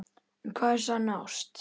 En hvað er sönn ást?